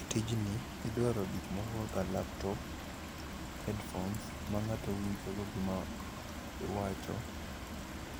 E tijni, idwaro gik moko kaka laptops, headphones ma ng'ato winjogo gima iwacho.